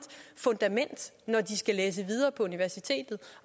fundament når de skal læse videre på universitetet